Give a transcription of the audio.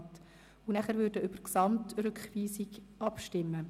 Danach würden wir über die Gesamtrückweisung abstimmen.